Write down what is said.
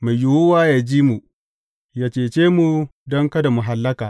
Mai yiwuwa yă ji mu, yă cece mu don kada mu hallaka.